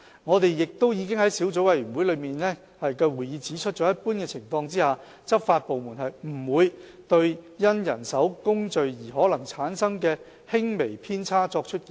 我們已在小組委員會的會議上指出，在一般情況下，執法部門不會對因人手工序而可能產生的輕微偏差作出檢控。